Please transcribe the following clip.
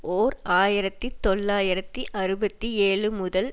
ஓர் ஆயிரத்தி தொள்ளாயிரத்து அறுபத்தி ஏழு முதல்